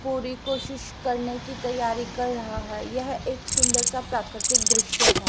पूरी कोशिश करने की तैयारी कर रहा है यह एक सुंदर सा प्राकृतिक दृश्य है।